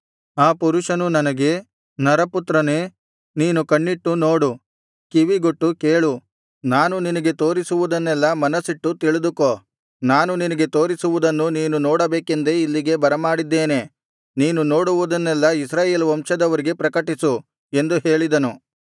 ಆ ಪುರುಷನು ನನಗೆ ನರಪುತ್ರನೇ ನೀನು ಕಣ್ಣಿಟ್ಟು ನೋಡು ಕಿವಿಗೊಟ್ಟು ಕೇಳು ನಾನು ನಿನಗೆ ತೋರಿಸುವುದನ್ನೆಲ್ಲಾ ಮನಸ್ಸಿಟ್ಟು ತಿಳಿದುಕೋ ನಾನು ನಿನಗೆ ತೋರಿಸುವುದನ್ನು ನೀನು ನೋಡಬೇಕೆಂದೇ ಇಲ್ಲಿಗೆ ಬರಮಾಡಿದ್ದೇನೆ ನೀನು ನೋಡುವುದನ್ನೆಲ್ಲಾ ಇಸ್ರಾಯೇಲ್ ವಂಶದವರಿಗೆ ಪ್ರಕಟಿಸು ಎಂದು ಹೇಳಿದನು